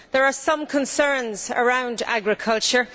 There are some concerns around agriculture.